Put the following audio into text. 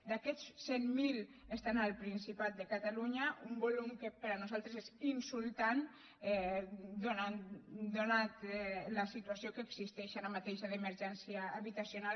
d’aquests cent mil estan al principat de catalunya un volum que per nosaltres és insultant atesa la situació que existeix ara mateix d’emergència habitacional